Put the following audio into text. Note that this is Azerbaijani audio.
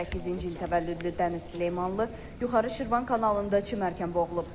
2008-ci il təvəllüdlü Dəniz Süleymanlı yuxarı Şirvan kanalında çimərkən boğulub.